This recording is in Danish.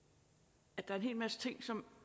der er en hel masse ting som